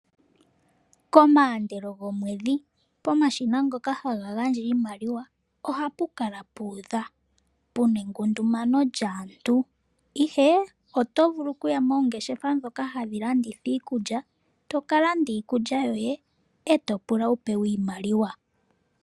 Komaandelo gomweedhi pomashina ngoka haga gandja iimaliwa ohapu kala puudha, puna ekundumano lyaantu ihe oto vulu kuya moongeshefa dhoka hadhi landitha iikulya, toka landa iikulya yoye e to pula wu pewe iimaliwa.